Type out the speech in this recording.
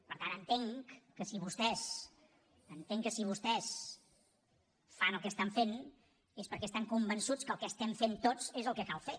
per tant entenc que si vostès fan el que estan fent és perquè estan convençuts que el que estem fent tots és el que cal fer